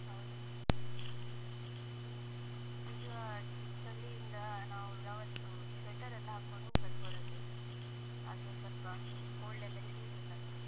ಹೌದು. ಈಗ್~ ಈಗ, ಚಳಿಯಿಂದ ನಾವು ಯಾವತ್ತೂ sweater ಎಲ್ಲಾ ಹಾಕೊಂಡು ಹೋಗ್ಬೇಕು, ಹೊರಗೆ. ಅದೇ ಸ್ವಲ್ಪ cold ಎಲ್ಲ ಹಿಡಿಯುದಿಲ್ಲ ನಮ್ಗೆ.